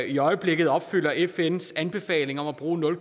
i øjeblikket opfylder fns anbefaling om at bruge nul